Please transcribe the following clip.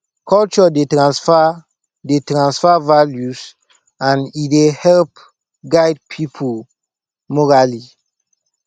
culture dey tranfer dey tranfer values and e dey help guide pipo morally